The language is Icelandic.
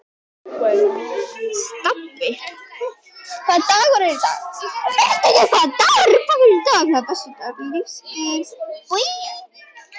Stapi, hvaða dagur er í dag?